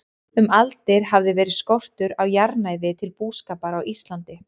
Um aldir hafði verið skortur á jarðnæði til búskapar á Íslandi.